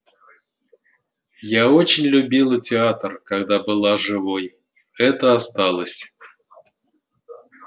я очень любила театр когда была живой это осталось